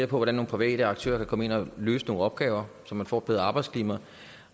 på hvordan nogle private aktører kan komme ind og løse nogle opgaver så man får et bedre arbejdsklima